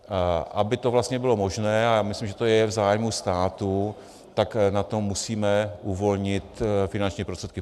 Aby to vlastně bylo možné, a já myslím, že to je v zájmu státu, tak na to musíme uvolnit finanční prostředky.